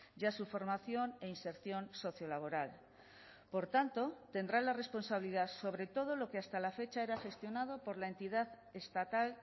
y a su formación e inserción sociolaboral por tanto tendrá la responsabilidad sobre todo lo que hasta la fecha era gestionado por la entidad estatal